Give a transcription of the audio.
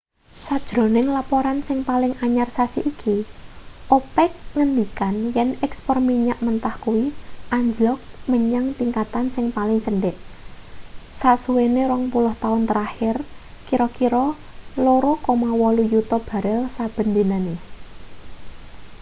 sajroning laporan sing paling anyar sasi iki opec ngendikan yen ekspor minyak mentah kuwi anjlok menyang tingkatan sing paling cendhek sasuwene rong puluh taun terakhir kira-kira 2,8 yuta barel saben dinane